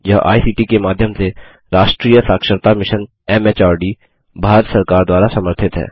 यह I C T के माध्यम से राष्ट्रीय साक्षरता mission M H R D Bharat सरकार द्वारा समर्थित है